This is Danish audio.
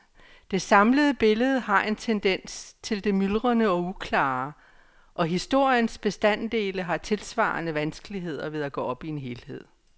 Det samlede billede har en tendens til det myldrende og uklare, og historiens bestanddele har tilsvarende vanskeligheder ved at gå op i en helhed.